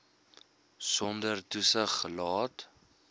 sonder toesig gelaat